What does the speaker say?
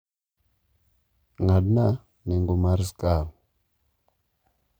ng'adna nengo mar skar